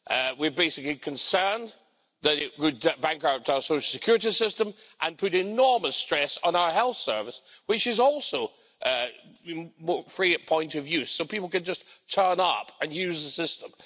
We are basically concerned that it would bankrupt our social security system and put enormous stress on our health service, which is also free at point of use so people can just turn up and use the system.